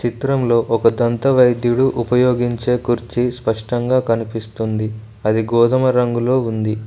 చిత్రంలో ఒక దంత వైద్యుడు ఉపయోగించే కుర్చీ స్పష్టంగా కన్పిస్తుంది అది గోధుమ రంగులో ఉంది.